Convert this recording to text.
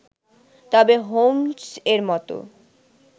তবে হোম্স্-এর মত